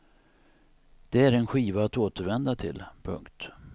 Det är en skiva att återvända till. punkt